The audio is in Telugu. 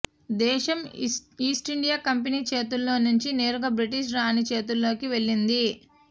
దేశం ఈస్టిండియా కంపెనీ చేతుల్లో నుంచి నేరుగా బ్రిటిష్ రాణి చేతుల్లోకి వెళ్ళింది